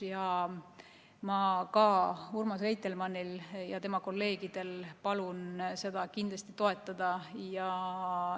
Nii et ma palun Urmas Reitelmannil ja tema kolleegidel seda eelnõu kindlasti toetada.